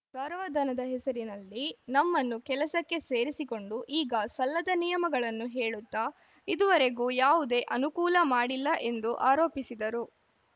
ಗೌರವಧನದ ಹೆಸರಿನಲ್ಲಿ ನಮ್ನನ್ನು ಕೆಲಸಕ್ಕೆ ಸೇರಿಸಿಕೊಂಡು ಈಗ ಸಲ್ಲದ ನಿಯಮಗಳನ್ನು ಹೇಳುತ್ತಾ ಇದುವರೆಗೂ ಯಾವುದೇ ಅನುಕೂಲ ಮಾಡಿಲ್ಲ ಎಂದು ಆರೋಪಿಸಿದರು